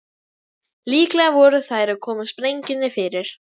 Líklega voru þær að koma sprengjunni fyrir.